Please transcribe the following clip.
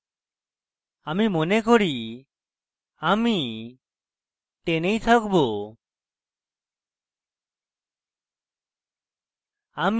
আমি মনে করি আমি 10 এই থাকবো